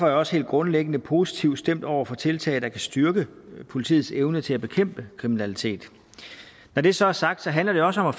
jeg også helt grundlæggende positivt stemt over for tiltag der kan styrke politiets evne til at bekæmpe kriminalitet når det så er sagt handler det også om at